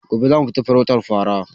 Gobe zamu fita farautar fara